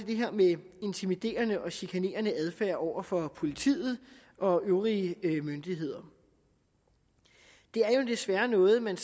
det her med intimiderende og chikanerende adfærd over for politiet og øvrige myndigheder det er jo desværre noget man